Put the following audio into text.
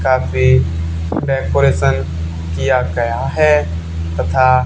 काफी डेकोरेशन किया गया है तथा --